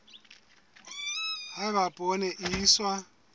ha eba poone e iswa